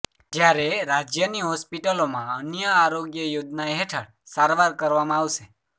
જ્યારે રાજ્યની હોસ્પિટલોમાં અન્ય આરોગ્ય યોજના હેઠળ સારવાર કરવામાં આવશે